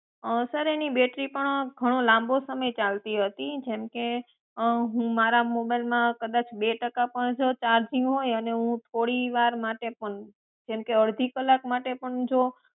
અં sir એની battery પણ ધણો લાંબો સમય ચાલતી હતી જેમકે અં હું મારા mobile માં કદાચ બે ટકા પણ ચાર્જીંગ હોય અને હું જો થોડી વાર માટે પણ જેમકે અડધા કલાક માટે પણ હું જો